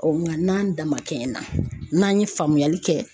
nka n'an da man kɛ na n'an ye faamuyali kɛ.